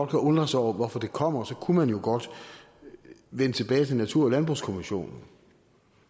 kan undre sig over hvorfor det kommer kunne man jo godt vende tilbage til natur og landbrugskommissionen